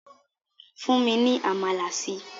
Fùn mi ni àmalà sìí!